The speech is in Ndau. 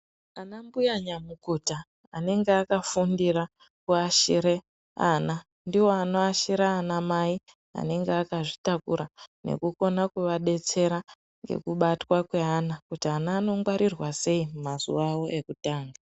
Anambuya nyamukuta anenge akafundire kuashira ana ndiwo anoashira anamai anenge akazvitakura nekukona kuvadetsera ngekubatwa kweana, kuti ana anongwarirwa sei, mazuwa avo ekutanga.